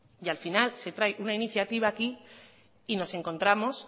y al final se trae una iniciativa aquí y nos encontramos